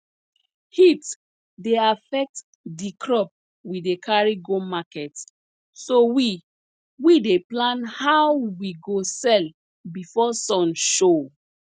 heat dey affect di crop we dey carry go market so we we dey plan how we go sell before sun show